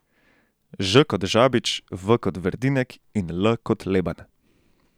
Ž kot Žabič, V kot Verdinek in L kot Leban.